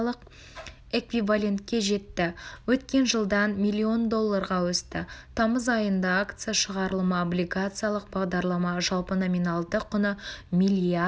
эквивалентке жетті өткен жылдан млндолларға өсті тамыз айында акция шығарылымы облигациялық бағдарлама жалпы номиналды құны млрд